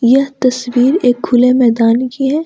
यह तस्वीर एक खुले मैदान की है।